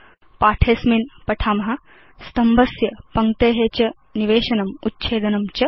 अस्मिन् पाठे वयं पठाम स्तम्भस्य पङ्क्ते च निवेशनम् उच्छेदनं च